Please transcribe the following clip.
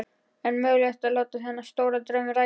En var mögulegt að láta þennan stóra draum rætast?